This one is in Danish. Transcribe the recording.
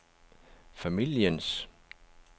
familiens